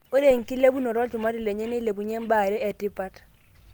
ore enkilepunoto olchumati lenye neilepunyie imbaa are etipat.